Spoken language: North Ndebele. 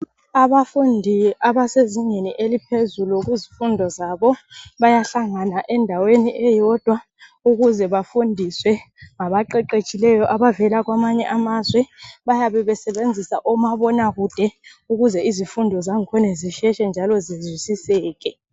Abafundi ke abasezingeni eliphezulu kuzifundo zabo bayahlangana endaweni eyodwa ukuze bafundiswe ngaba qeqetshileyo abavela kwamanye amazwe, bayabe besebenzisa omabonakude ukuze izifundo zankhona zisheshe njalo zizwisiseke.